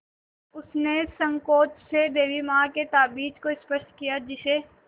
उसने सँकोच से देवी माँ के ताबीज़ को स्पर्श किया जिसे